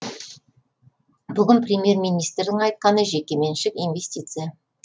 бүгін премьер министрдің айтқаны жекеменшік инвестиция